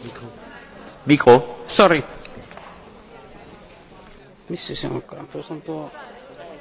Haluaisin kysyä, millä perusteella te väitätte, että sosiaalidemokraatit haluavat jatkaa samaa linjaa?